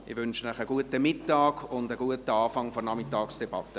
Ich wünsche Ihnen einen schönen Mittag und einen guten Beginn der Nachmittagsdebatte.